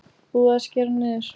Búið að skera niður